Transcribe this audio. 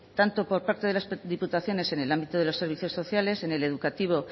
tanto por parte de las tres diputaciones en el ámbito de los servicios sociales en el educativo